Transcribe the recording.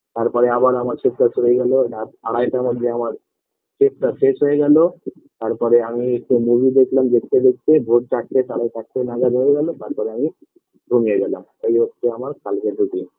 তারপরে আবার আমার shift -টা চলে গেল রাত আড়াইটার মধ্যে আমার shift -টা শেষ হয়ে গেল তারপরে আমি একটু movie দেখলাম দেখতে দেখতে ভোর চারটে সাড়ে চারটে নাগাদ হয়ে গেল তারপরে আমি ঘুমিয়ে গেলাম এই হচ্ছে আমার কালকের routine